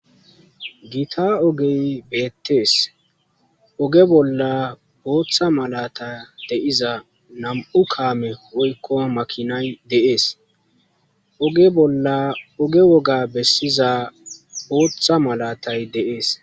gita ogey beettees oge bolla booththa malata de7iza nam7u kaame woykko makinay deees ogebolla oge woga bessiza ooththa malatay de7ees